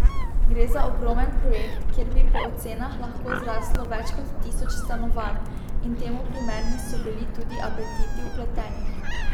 Gre za ogromen projekt, kjer bi po ocenah lahko zraslo več kot tisoč stanovanj, in temu primerni so bili tudi apetiti vpletenih.